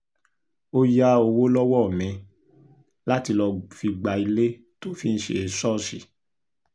ó ya owo lọ́wọ́ mi láti lọ́ọ́ fi gba ilé tó fi ń ṣe ṣọ́ọ̀ṣì